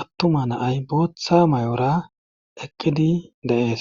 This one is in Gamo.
attuma naay booththa may'ora eqqidi de'ees